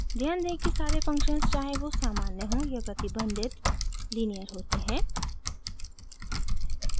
ध्यान दें कि सारे फंक्शन्स चाहें वो सामान्य हों या प्रतिबंधित लीनियर होते हैं